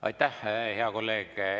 Aitäh, hea kolleeg!